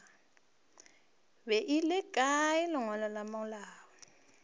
beile kae lengwalo la malao